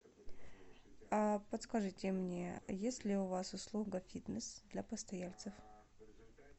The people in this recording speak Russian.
подскажите мне есть ли у вас услуга фитнес для постояльцев